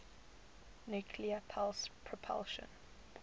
nuclear pulse propulsion